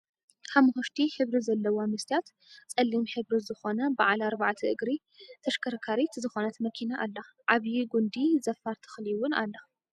ሓሞክሽቲ ሕብሪ ዘለዋ መስትያታ ፀሊም ሕብሪ ዝኮነ ብዓል ኣርባዕተ እግሪ ተሽከርካሪት ዝኮነት መኪና ኣላ። ዓብይ ጉንዲ ዘፋር ተክሊ እውን ኣላ።